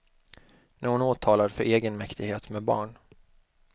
Nu är hon åtalad för egenmäktighet med barn.